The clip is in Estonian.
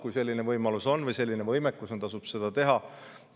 Kui selline võimalus või võimekus on, tasub seda teha.